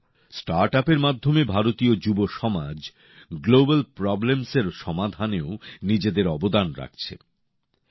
বন্ধুরা স্টার্টআপের মাধ্যমে ভারতীয় যুবসমাজ আন্তর্জাতিক সমস্যার সমাধানেও নিজেদের অবদান রাখছেন